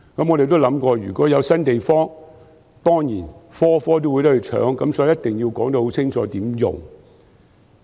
我也想過，如果有新地方，所有醫療專科當然也會爭奪，所以必須說清楚如何使用。